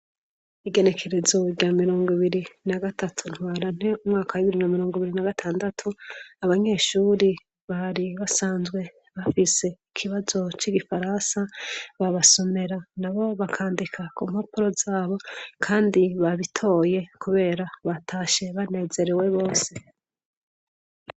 Igerekerezorya mirongo ibiri na gatatu ntwara nte umwaka b'ibiri na mirongo biri na gatandatu abanyeshuri bari basanzwe bafise ikibazo c'igifaransa babasomera na bo bakandika ku mpapuro zabo, kandi babitoye, kubera batashe banezerewe bose.